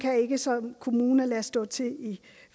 ikke som kommune kan lade stå til i